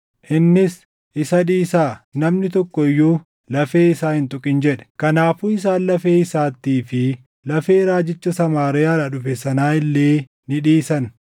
Innis, “Isa dhiisaa; namni tokko iyyuu lafee isaa hin tuqin” jedhe. Kanaafuu isaan lafee isaattii fi lafee raajicha Samaariyaadhaa dhufe sanaa illee ni dhiisan.